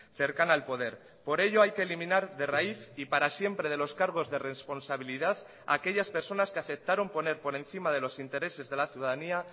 cercana al poder por ello hay que eliminar de raíz y para siempre de los cargos de responsabilidad a aquellas personas que aceptaron poner por encima de los intereses de la ciudadanía